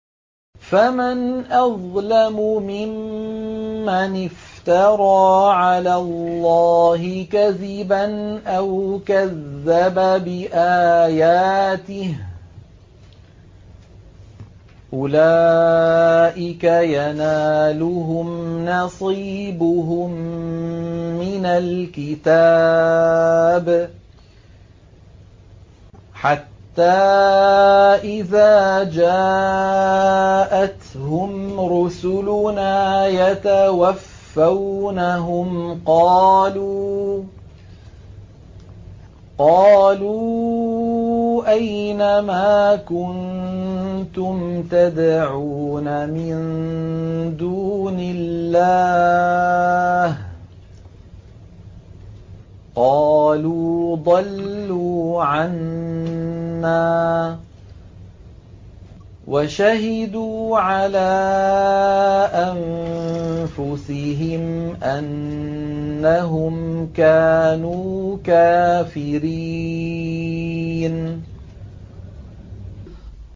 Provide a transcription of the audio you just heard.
فَمَنْ أَظْلَمُ مِمَّنِ افْتَرَىٰ عَلَى اللَّهِ كَذِبًا أَوْ كَذَّبَ بِآيَاتِهِ ۚ أُولَٰئِكَ يَنَالُهُمْ نَصِيبُهُم مِّنَ الْكِتَابِ ۖ حَتَّىٰ إِذَا جَاءَتْهُمْ رُسُلُنَا يَتَوَفَّوْنَهُمْ قَالُوا أَيْنَ مَا كُنتُمْ تَدْعُونَ مِن دُونِ اللَّهِ ۖ قَالُوا ضَلُّوا عَنَّا وَشَهِدُوا عَلَىٰ أَنفُسِهِمْ أَنَّهُمْ كَانُوا كَافِرِينَ